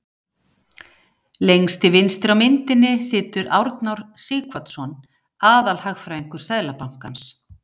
Lengst til vinstri á myndinni situr Arnór Sighvatsson, aðalhagfræðingur Seðlabankans.